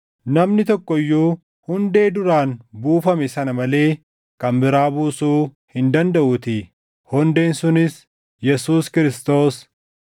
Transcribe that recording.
Namni tokko iyyuu hundee duraan buufame sana malee kan biraa buusuu hin dandaʼuutii; hundeen sunis Yesuus Kiristoos.